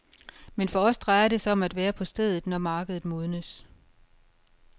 Men for os drejer det sig om at være på stedet, når markedet modnes.